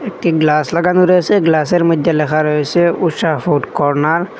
একটি গ্লাস লাগানো রয়েসে গ্লাস -এর মইদ্যে লেখা রয়েসে ঊষা ফুড কর্ণার ।